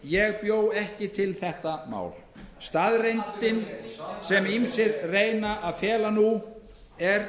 ég bjó ekki þetta vandamál til staðreyndin sem ýmsir reyna að fela nú er